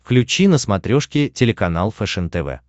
включи на смотрешке телеканал фэшен тв